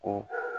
Ka